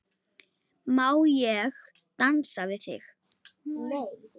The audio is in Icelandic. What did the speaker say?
Má ég dansa við þig?